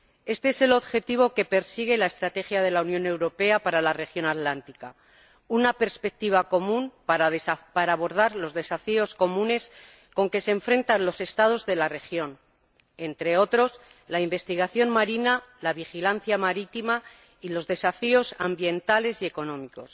Este es el objetivo que persigue la Estrategia de la Unión Europea para la región atlántica una perspectiva común para abordar los desafíos comunes con que se enfrentan los Estados de la región, entre otros, la investigación marina, la vigilancia marítima y los desafíos ambientales y económicos.